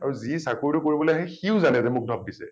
আৰু যি চাকৰিটো কৰিবলৈ আহে সিও জানে যে মোক ধপ দিছে